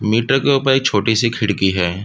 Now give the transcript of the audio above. Metre के ऊपर एक छोटी- सी खिड़की हैं।